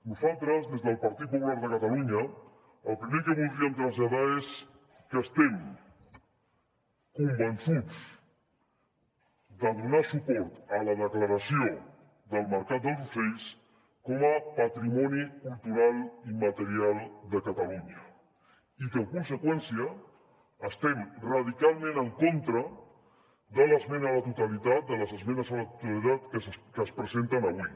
nosaltres des del partit popular de catalunya el primer que voldríem traslladar és que estem convençuts de donar suport a la declaració del mercat dels ocells com a patrimoni cultural i immaterial de catalunya i que en conseqüència estem radicalment en contra de les esmenes a la totalitat que es presenten avui